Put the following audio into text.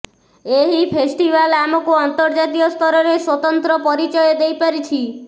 ଏହି ଫେଷ୍ଟିଭାଲ ଆମକୁ ଅନ୍ତର୍ଜାତୀୟ ସ୍ତରରେ ସ୍ୱତନ୍ତ୍ର ପରିଚୟ ଦେଇପାରିଛି